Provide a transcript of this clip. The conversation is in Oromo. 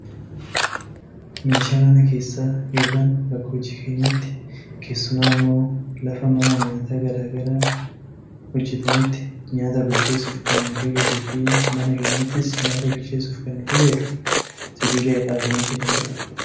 Meeshaa mana keessa yookaan bakka hojii keenyaatti keessumaa ammoo lafa mana nyaataa gara garaa hojjatanitti nyaata bilcheessuuf kan nu fayyaduufi mana keenyattis nyaata bilcheessuuf kan nu fayyadu sibiila irraa kan hojjatamedha.